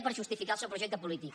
per justificar el seu projecte polític